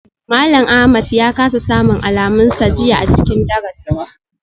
Malam Ahmad ya kasa samun alamunsa jiya a cikin darasi.